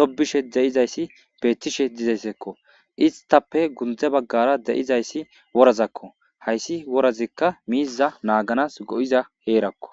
tobishe de7izayssi beettishe dizeyssekko istappe gundze baggara de7izayssi worazakko hayssi worazikka miiza naaganas go7iza heerakko